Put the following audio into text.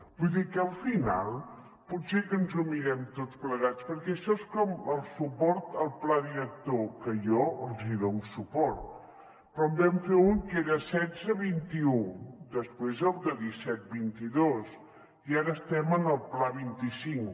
vull dir que al final potser que ens ho mirem tots plegats perquè això és com el suport al pla director que jo els dono suport però en vam fer un que era setze vint un després el de disset vint dos i ara estem en el pla vint cinc